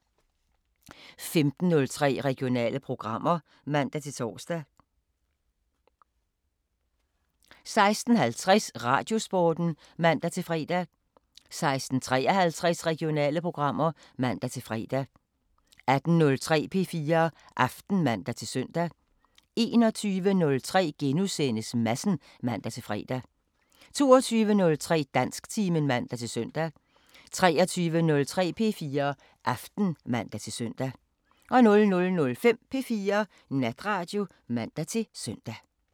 15:03: Regionale programmer (man-tor) 16:50: Radiosporten (man-fre) 16:53: Regionale programmer (man-fre) 18:03: P4 Aften (man-søn) 21:03: Madsen *(man-fre) 22:03: Dansktimen (man-søn) 23:03: P4 Aften (man-søn) 00:05: P4 Natradio (man-søn)